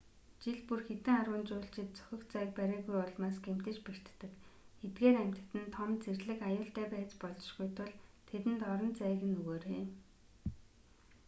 жил бүр хэдэн арван жуулчид зохих зайг бариагүйн улмаас гэмтэж бэртдэг эдгээр амьтад нь том зэрлэг аюултай байж болзошгүй тул тэдэнд орон зайг нь өгөөрэй